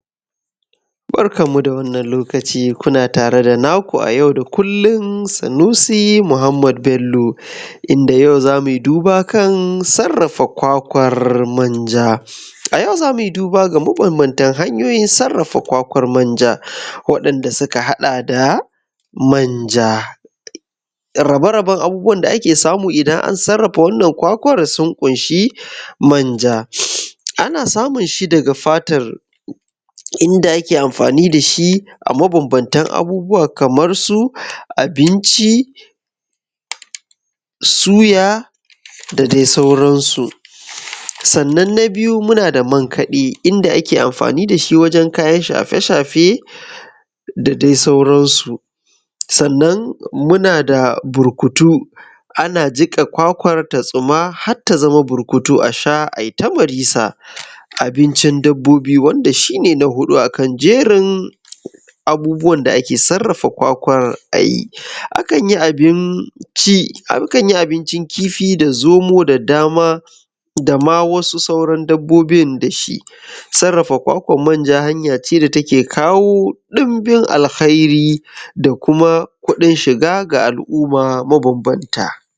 Barkanku da wannan lokaci kuna tare da naku a yau da kullum Sunusi Muhammad Bello inda yau za mu yi duba kan sarrafa kwakwar manja, za mu yi duba kan hanyoyi mabambanta sarrafa kwakwar manja, waɗanda suka haɗa da manja rabe-raben abubuwan da ake samu idan an sarrafa kwakwar sun ƙunshi manja ana samun shi daga fatar inda ake amfani da shi a mabambanta abubuwan kamar su: abinci suya da dai sauransu. Sannan na biyu muna da man kaɗe inda ake amfani da shi wajen kayan shafe-shafe da dai sauransu. Sannan muna da burkutu ana jiƙa kwakwar ta tsuma har ta zama burkutu a sha a yi ta marisa. Abincin dabbobi shi na huɗu akan jerin ake sarrafa kwakwar a yi, akan yi abincin kifi da zomo da dama wasu sauran dabbobin da shi. Kwakwar manja hanya ce wanda take kawo dinbin alheri da kuma kuɗin shiga ga al'umma mabambanta.